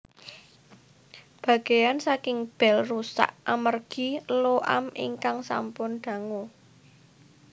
Bagean saking bell rusak amargi lo am ingkang sampun dangu